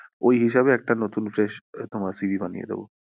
ওই হিসেবে একটা নতুন fresh তোমার CV বানিয়ে দেব।